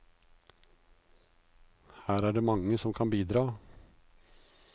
Her er det mange som kan bidra.